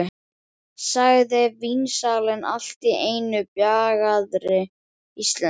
sagði vínsalinn allt í einu á bjagaðri íslensku.